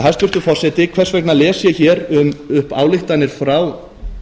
hæstvirtur forseti hvers vegna les ég hér upp ályktanir frá